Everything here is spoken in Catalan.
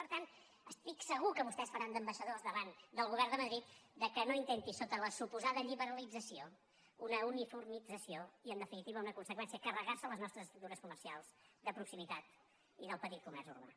per tant estic segur que vostès faran d’ambaixadors davant del govern de madrid perquè no intenti sota la suposada lliberalització una uniformització i en definitiva una conseqüència carregar se les nostres estructures comercials de proximitat i del petit comerç urbà